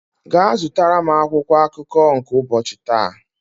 gaa zụtara m akwụkwọ akụkọ nke ụbọchi taa!